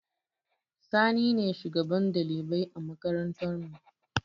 Sani ne shugaban ɗalibai a makarantar mu